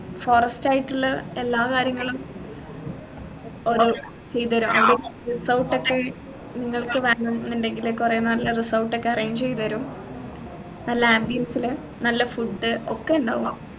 forest ആയിട്ടുള്ള എല്ലാ കാര്യങ്ങളും ഓർ ചെയ്തുതരും ഏർ അവിടെ resort ഒക്കെ നിങ്ങൾക് വേണംന്നുണ്ടെങ്കിൽ ഒരു കൊറേ നല്ല resort ഒക്കെ arrange ചെയ്തരും നല്ല ambience ലു നല്ല food ഒക്കെ ഉണ്ടാവും